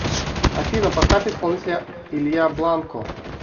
афина поставь исполнителя илья бланко